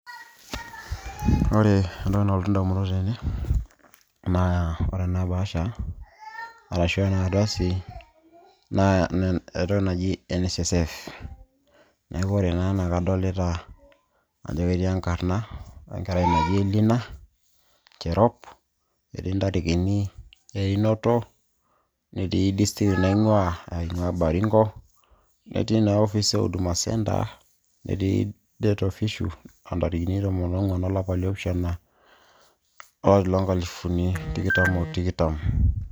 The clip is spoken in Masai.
Ore entoki nalotu indamunot tene, naa ore ena bahasha arashu enardasi, na entoki naji NSSF. Neeku ore naa kadolita ajo ketii enkarna enkerai naji Elina Cherop, etii ndarikini einoto, netii district naing'ua ,ing'ua Baringo, etii na ofis e Huduma Centre. Etii date official ,ah ntarikini tomon ong'uan olapa liopishana olari lonkalifuni tikitam o tikitam.